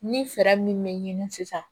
Ni fɛɛrɛ min bɛ ɲini sisan